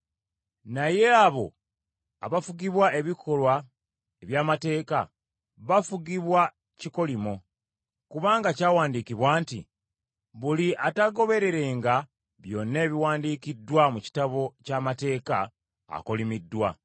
Naye abo abafugibwa ebikolwa eby’amateeka, bafugibwa kikolimo; kubanga kyawandiikibwa nti, “Buli ataagobererenga byonna ebiwandiikiddwa mu kitabo ky’amateeka, akolimiddwa.”